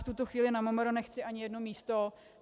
V tuto chvíli na MMR nechci ani jedno místo.